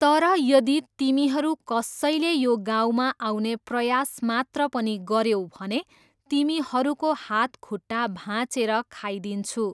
तर यदि तिमीहरू कसैले यो गाउँमा आउने प्रयास मात्र पनि गऱ्यौ भने तिमीहरूको हातखुट्टा भाँचेर खाइदिन्छु।